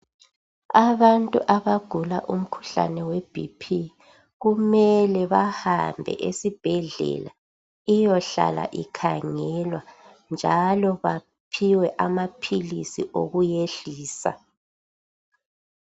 Abantu abagula umkhuhlane weBp kumele bahambe esibhedlela ihlale ikhangelwa njalo baphiwe amaphilisi okuyiyehlisa.